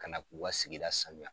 Ka na k'u ka sigida sanuya